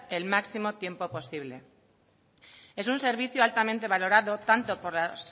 el máximo tiempo posible es un servicio altamente valorado tanto por las